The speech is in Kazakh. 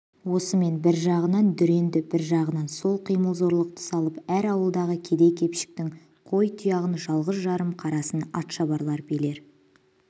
осымен бір жағынан дүрені бір жағынан қол қимыл зорлықты салып әр ауылдағы кедей-кепшіктің қой тұяғын жалғыз-жарым қарасын атшабарлар билер